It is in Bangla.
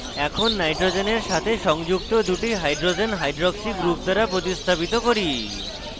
এখন nitrogen সাথে সংযুক্ত দুটি hydrogens hydroxy hydroxy group দ্বারা প্রতিস্থাপিত করি